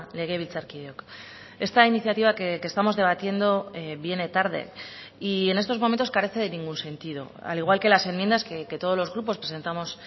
legebiltzarkideok esta iniciativa que estamos debatiendo viene tarde y en estos momentos carece de ningún sentido al igual que las enmiendas que todos los grupos presentamos